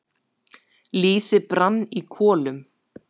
Lýsi brann í kolum.